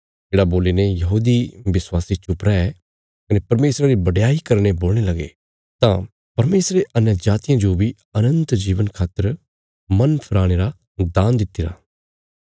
येढ़ा सुणी ने यहूदी विश्वासी चुप रै कने परमेशरा री बडयाई करीने बोलणे लगे तां परमेशरे अन्यजातियां जो बी अनन्त जीवना खातर मन फराणे रा दान दित्तिरा